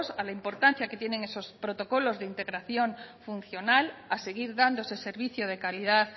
a la importancia que tienen esos protocolos de integración funcional a seguir dando ese servicio de calidad